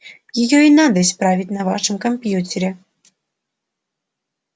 её и надо исправить на вашем компьютере